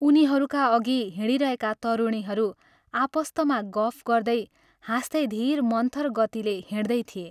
उनीहरूका अघि हिँडिरहेका तरुणीहरू आपस्तमा गफ गर्दै, हाँस्दै धीर मन्थर गतिले हिंड्दै थिए।